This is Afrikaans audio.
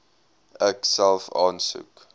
ek self aansoek